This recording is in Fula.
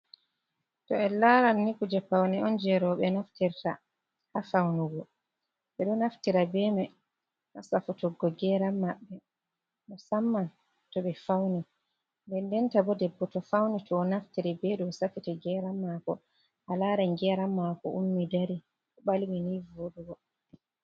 To en laaran ni kuuje pawne on jey rowɓe naftirta ha fawnugo. Ɓe do naftira bee may ha safutuggo "geeran" maɓɓe, musamman to ɓe fawni. Ndendenta bo debbo to fawni to o naftiri be ɗoo safita "geeran" maako a laaran "geeran" maako ummi dari ɓalwi nii vooɗugo.